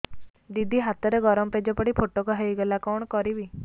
ଦିଦି ହାତରେ ଗରମ ପେଜ ପଡି ଫୋଟକା ହୋଇଗଲା କଣ କରିବି